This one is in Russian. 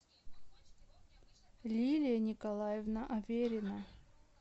лилия николаевна аверина